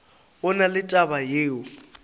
go na le taba yeo